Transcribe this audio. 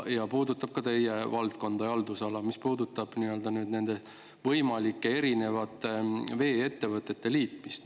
See puudutab ka teie valdkonda ja haldusala, nimelt võimalikku vee-ettevõtete liitmist.